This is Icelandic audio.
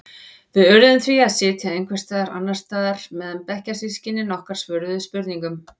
Við urðum því að sitja einhvers staðar annars staðar meðan bekkjarsystkini okkar svöruðu spurningunum.